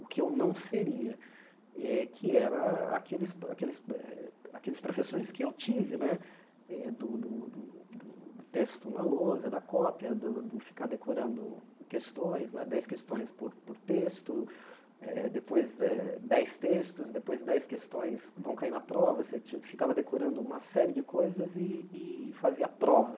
o que eu não seria eh, que era aqueles aqueles eh aqueles professores que eu tive né, do do do texto na lousa, da cópia, do do ficar decorando questões né, dez questões por por texto, eh depois eh dez textos, depois dez questões vão cair na prova, você ti ficava decorando uma série de coisas e e fazia a prova.